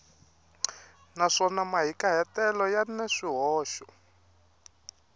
naswona mahikahatelo ya na swihoxo